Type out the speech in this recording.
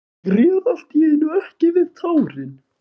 Ég réð allt í einu ekki við tárin.